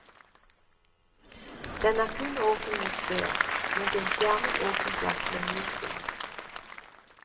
Den er kun åpen mot sør, mot en skjermet åpen plass med mye sol.